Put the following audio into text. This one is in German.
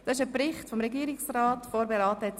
– Dieser Bericht wurde von der SAK vorberaten.